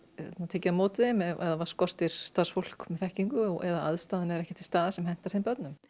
tekið á móti þeim ef það skortir starfsfólk með þekkingu eða aðstaðan er ekki til staðar sem hentar þeim börnum